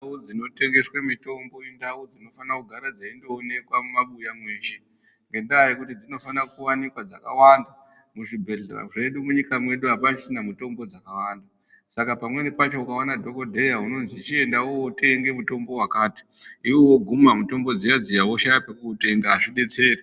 Ndau dzinotengeswe mitombo indau dzinofanira kugare dzeindoonekwa mumabuya mweshe. Ngendaa yekuti dzinofanira kuwanikwa dzakawanda muzvibhehlera zvedu munyika mwedu apachisina mitombo dzakawanda. Saka pamweni pacho ukaone dhokodheya unozwi chienda wootenga mutombo wakati iwewe woguma mutombo dziya dziya woshaya kwekudzitenga azvidetseri.